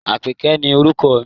Àpèké ni orúkọ mi.